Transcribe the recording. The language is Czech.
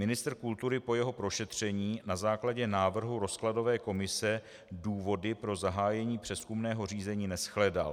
Ministr kultury po jeho prošetření na základě návrhu rozkladové komise důvody pro zahájení přezkumného řízení neshledal.